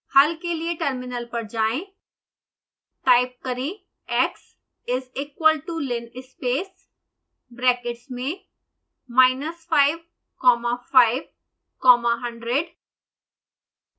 हल के लिए टर्मिनल पर जाएं टाइप करें x is equal to linspace brackets में minus 5 comma 5 comma 100